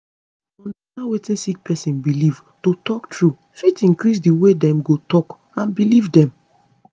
to understand wetin sick person belief to talk truth fit increase di way dem go talk and belief dem